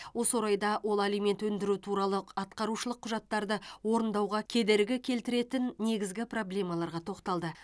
осы орайда ол алимент өндіру туралы атқарушылық құжаттарды орындауға кедергі келтіретін негізгі проблемаларға тоқталды